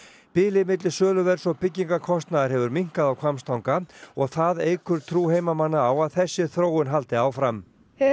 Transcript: bilið milli söluverðs og hefur minnkað á Hvammstanga og það eykur trú heimamanna á að þessi þróun haldi áfram